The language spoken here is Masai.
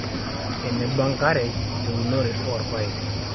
eneba enkare teunore oorpaek